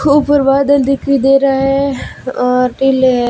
ऊपर बादल दिखाई दे रहा है और टीले है।